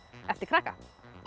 eftir krakka